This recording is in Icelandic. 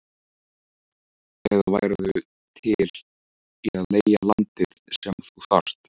eða værirðu til í að leigja landið sem þú þarft?